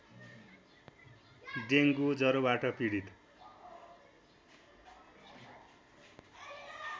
dengue ज्वरोबाट पीडित